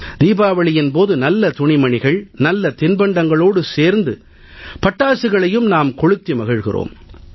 தீபாவளியின் போது நல்ல துணிமணிகள் நல்ல தின்பண்டங்களோடு சேர்த்து பட்டாசுகளையும் நாம் கொளுத்தி மகிழ்கிறோம்